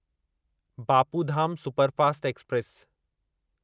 Bapu Dham superfast express